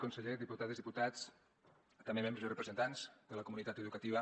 conseller diputades diputats també membres i representants de la comunitat educativa